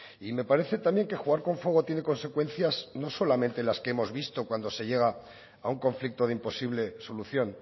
y me parece también que jugar con fuego tiene consecuencias no solamente las que hemos visto cuando se llega a un conflicto de imposible solución